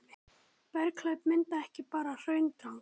berghlaup myndaði ekki bara hraundranga